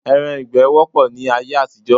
Ẹran ìgbẹ́ wọ́pọ̀ ní ayé àtijọ́